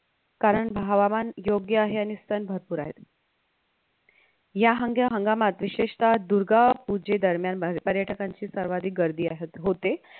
कारण हवामान योग्य आहे आणि स्तन भरपूर आहेत या हांग्या हंगामात विशेषतः दुर्गापूजेदरम्यान पर्यटकांची सर्वाधिक गर्दी आहे होत